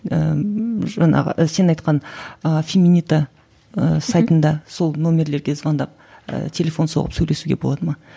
ыыы жаңағы ы сен айтқан ыыы феминита ыыы сайтында сол нөмерлерге звондап ыыы телефон соғып сөйлесуге болады ма